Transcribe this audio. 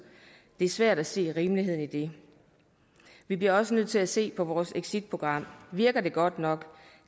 det er svært at se rimeligheden i det vi bliver også nødt til at se på vores exitprogram virker det godt nok